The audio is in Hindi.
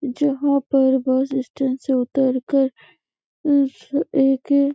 जहाँ पर बस स्टैंड से उतरकर उस ए के--